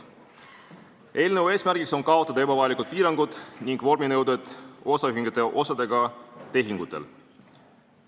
Eelnõu eesmärk on kaotada osaühingute osadega tehtavate tehingute ebavajalikud piirangud ja vorminõuded.